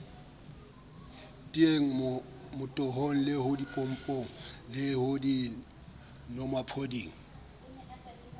teyeng motohong ho dipompong dinomaphodi